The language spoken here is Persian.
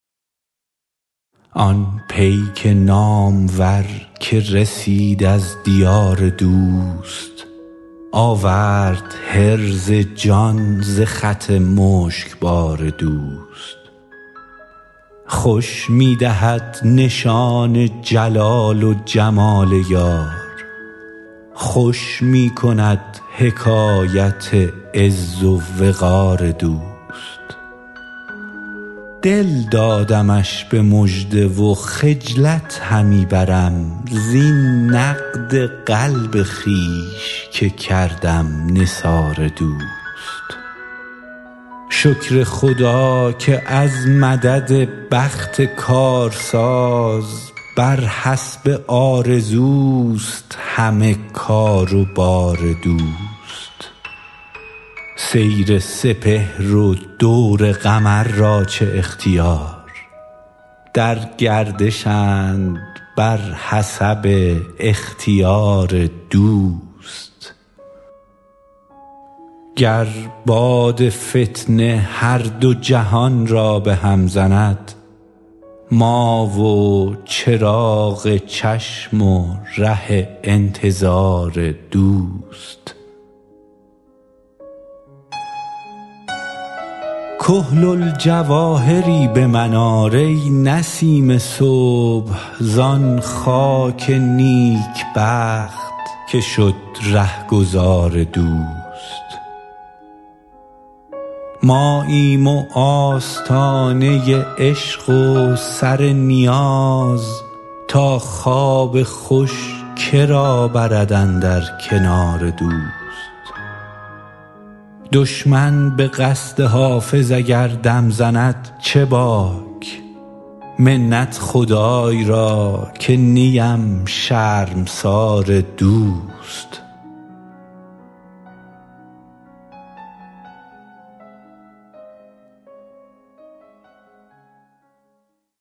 آن پیک نامور که رسید از دیار دوست آورد حرز جان ز خط مشکبار دوست خوش می دهد نشان جلال و جمال یار خوش می کند حکایت عز و وقار دوست دل دادمش به مژده و خجلت همی برم زین نقد قلب خویش که کردم نثار دوست شکر خدا که از مدد بخت کارساز بر حسب آرزوست همه کار و بار دوست سیر سپهر و دور قمر را چه اختیار در گردشند بر حسب اختیار دوست گر باد فتنه هر دو جهان را به هم زند ما و چراغ چشم و ره انتظار دوست کحل الجواهری به من آر ای نسیم صبح زان خاک نیکبخت که شد رهگذار دوست ماییم و آستانه عشق و سر نیاز تا خواب خوش که را برد اندر کنار دوست دشمن به قصد حافظ اگر دم زند چه باک منت خدای را که نیم شرمسار دوست